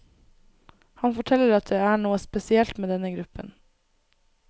Han forteller at det er noe helt spesielt med denne gruppen.